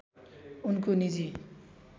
उनको निजी